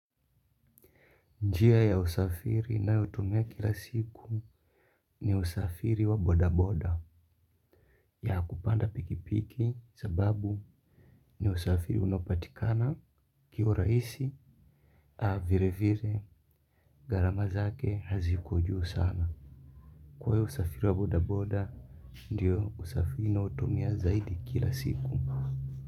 Njia ya usafiri ninayotumia kila siku ni usafiri wa bodaboda ya kupanda pikipiki sababu ni usafiri unaopatikana kiurahisi a vile vile gharama zake haziko juu sana. Kwa hivyo usafiri wa bodaboda ndio usafiri ninaotumia zaidi kila siku.